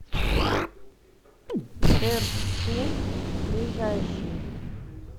дерсу ближайший